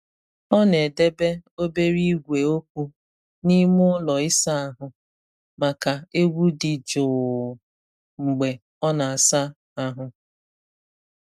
Ọ na-edebe obere igwe okwu n’ime ụlọ ịsa ahụ maka egwu dị jụụ mgbe ọ na-asa ahụ.